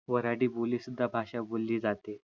वराडी बोली सुद्धा भाषा बोली जाते